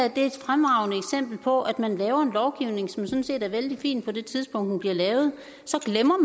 er et fremragende eksempel på at man laver en lovgivning som sådan set er vældig fin på det tidspunkt bliver lavet så glemmer